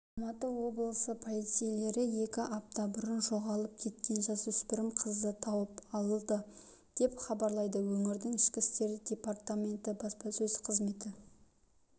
алматы облысы полицейлері екі апта бұрын жоғалып кеткен жасөспірім қызды тауып алды деп хабарлайды өңірдің ішкі істер департаменті баспасөз қызметі